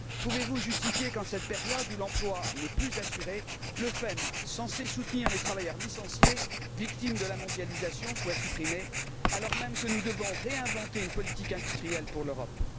Pouvez vous justifier qu'en cette période où l'emploi n'est plus assuré, le FEM censé soutenir les travailleurs licenciés victimes de la mondialisation soit supprimé, alors même que nous devons réinventer une politique industrielle pour l'Europe?